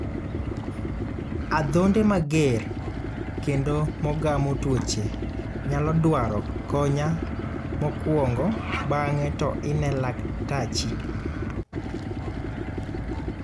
Adhonde mager kendo mogamo tuoche nyalo dwaro konya mokwongo bang'e to ine laktachi.